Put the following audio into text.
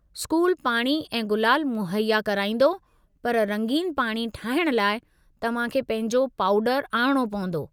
School पाणी ऐं गुलाल मुहैया कराईंदो, पर रंगीन पाणी ठाहिण लाइ तव्हां खे पंहिंजो पाउडरु आणणो पवंदो।